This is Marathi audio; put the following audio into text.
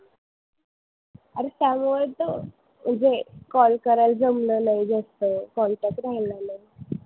अरे चांगलं होतं म्हणजे call करायला जमलं नाही जास्त, contact राहिला नाही.